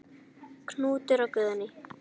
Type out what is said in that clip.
Knútur og Guðný.